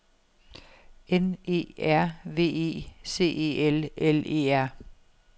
N E R V E C E L L E R